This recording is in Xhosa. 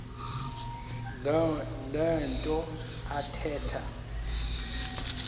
le nto athetha